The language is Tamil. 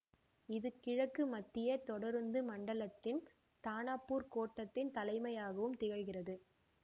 இது கிழக்கு மத்திய தொடருந்து மண்டலத்தின் தானாபூர் கோட்டத்தின் தலைமையகமாவும் திகழ்கிறது